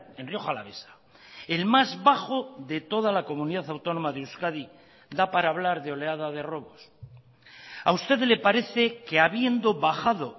en rioja alavesa el más bajo de toda la comunidad autónoma de euskadi da para hablar de oleada de robos a usted le parece que habiendo bajado